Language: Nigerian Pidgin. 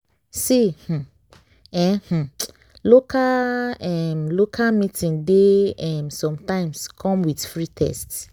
see um eh um local em local meeting dey em sometimes come with free test.